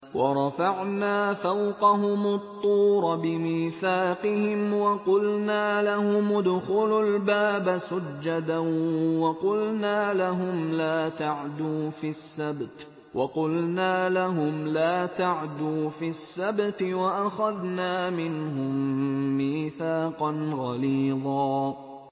وَرَفَعْنَا فَوْقَهُمُ الطُّورَ بِمِيثَاقِهِمْ وَقُلْنَا لَهُمُ ادْخُلُوا الْبَابَ سُجَّدًا وَقُلْنَا لَهُمْ لَا تَعْدُوا فِي السَّبْتِ وَأَخَذْنَا مِنْهُم مِّيثَاقًا غَلِيظًا